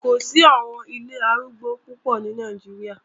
Kò sí àwọn ilé arúgbó púpọ̀ ní Nàìjíríà